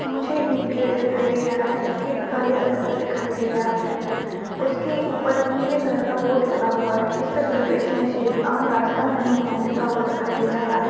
मुझे एक गेट दिखाई दे रहा है गेट काले कलर का दिखाई दे रहा है उसके ऊपर एक नीले कलर का बोर्ड लगा हुआ है जिसमे प्रवेश निषेध आम रस्ता नहीं है लिखा हुआ दिखाई दे रहा है।